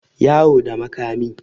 yawo da makami